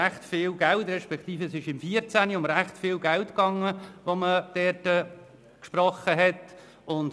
Es ging 2014 um ziemlich viel Geld, das gesprochen wurde.